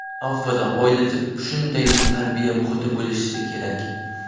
Avvalo, oilada shunday tarbiya muhiti bo‘lishi kerak.